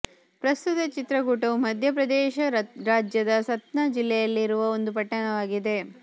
ಪ್ರಸ್ತುತ ಚಿತ್ರಕೂಟವು ಮಧ್ಯ ಪ್ರದೇಶ ರಾಜ್ಯದ ಸತ್ನಾ ಜಿಲ್ಲೆಯಲ್ಲಿರುವ ಒಂದು ಪಟ್ಟಣವಾಗಿದೆ